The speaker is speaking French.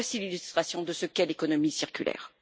Voici l'illustration de ce qu'est l'économie circulaire.